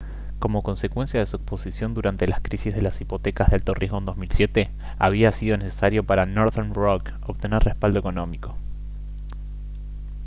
como consecuencia de su exposición durante la crisis de las hipotecas de alto riesgo en 2007 había sido necesario para northern rock obtener respaldo económico